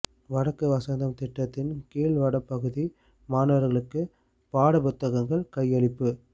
வடக்கு வசந்தம் திட்டத்தின் கீழ் வடபகுதி மாணவர்களுக்கு பாடப்புத்தகங்கள் கையளிப்பு